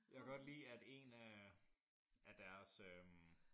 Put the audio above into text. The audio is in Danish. Jeg kan godt lide at en af af deres øh